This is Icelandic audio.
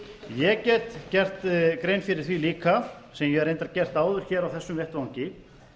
ég get gert grein fyrir því líka sem ég hef reyndar gert áður hér á þessum vettvangi